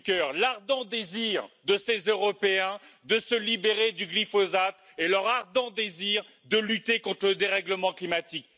Juncker, l'ardent désir de ces Européens de se libérer du glyphosate et leur ardent désir de lutter contre le dérèglement climatique.